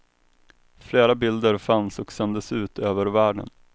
Flera bilder fanns och sändes ut över världen.